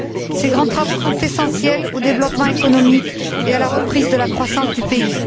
Ces grands travaux sont essentiels au développement économique et à la reprise de la croissance du pays.